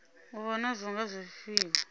u vha nazwo nga zwifhinga